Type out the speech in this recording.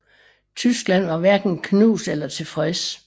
Tyskland var hverken knust eller tilfreds